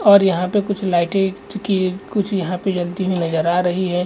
और यहाँ पे कुछ लाइटे जो की यहाँ पर कुछ जलती हुई नज़र आ रही है।